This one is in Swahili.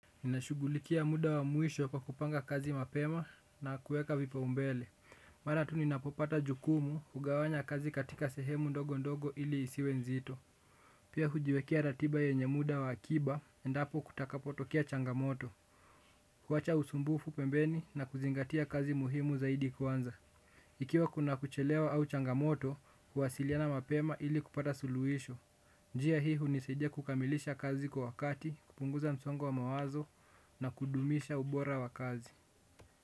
Ninashughulikia muda wa mwisho pa kupanga kazi mapema na kueka vipaumbele. Maana tu ninapopata jukumu hugawanya kazi katika sehemu ndogo ndogo ili isiwe nzito. Pia hujiwekea ratiba yenye muda wa akiba endapo kutakapotokea changamoto. Kuwacha usumbufu pembeni na kuzingatia kazi muhimu zaidi kwanza. Ikiwa kuna kuchelewa au changamoto kuwasiliana mapema ili kupata suluhisho. Njia hii hunisaidia kukamilisha kazi kwa wakati, kupunguza msongo wa mawazo na kudumisha ubora wa kazi.